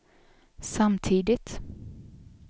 samtidigt